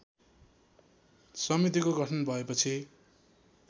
समितिको गठन भएपछि